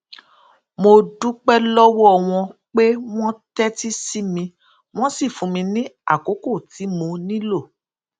mo dúpé lówó wọn pé wón tétí sí mi wón sì fún mi ní àkókò tí mo nílò